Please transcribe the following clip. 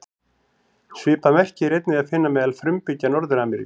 Svipað merki er einnig að finna meðal frumbyggja Norður-Ameríku.